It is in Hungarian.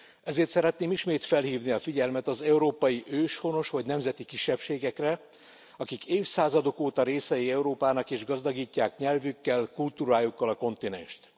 Ezért szeretném ismét felhívni a figyelmet az európai őshonos vagy nemzeti kisebbségekre, akik évszázadok óta részei Európának és gazdagítják nyelvükkel, kultúrájukkal a kontinenst.